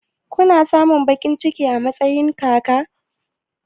Kuna samun baƙin ciki a matsayin kaka?